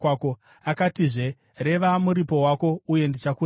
Akatizve, “Reva muripo wako, uye ndichakuripa.”